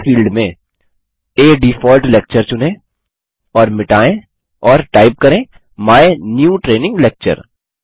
title field में आ default lecture चुनें और मिटायें और टाइप करें माय न्यू ट्रेनिंग लेक्चर